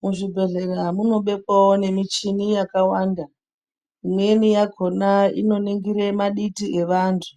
Muzvibhedhlera munobekwawo nemichini yakawanda. Imweni yakhona inoningire maditi evantu